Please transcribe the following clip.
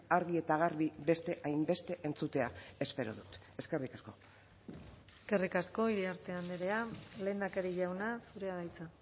argi eta garbi beste hainbeste entzutea espero dut eskerrik asko eskerrik asko iriarte andrea lehendakari jauna zurea da hitza